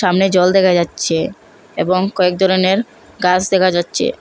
এখানে জল দেখা যাচ্ছে এবং কয়েক ধরনের গাস দেখা যাচ্ছে।